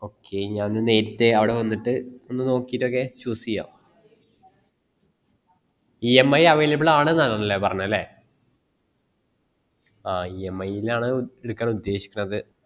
ആ okay ഞാൻ ഒന്ന് അവിടെ വന്നിട്ട് ഒന്ന് നോക്കീട്ട് ഒക്കെ choose ചെയാ emiavailable ആണ് ആനലേ പറഞ്ഞേ അല്ലെ ആ EMI ൽ ആണ് എടുക്കാൻ ഉദേശികണത്